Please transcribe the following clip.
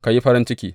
Ka yi farin ciki.